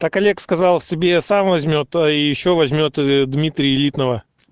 так олег сказал себе сам возьмёт и ещё возьмёт дмитрий элитного